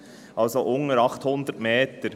Das heisst, unterhalb von 800 Höhenmetern.